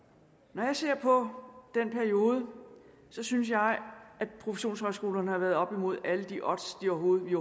når jeg ser på den periode synes jeg at professionshøjskolerne har været oppe imod alle de odds vi overhovedet